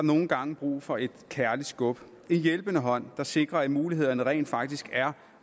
nogle gange brug for et kærligt skub en hjælpende hånd der sikrer at mulighederne rent faktisk er